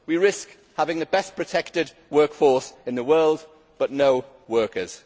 We risk having the best protected workforce in the world, but no workers.